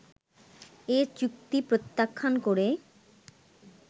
এ চুক্তি প্রত্যাখ্যান করে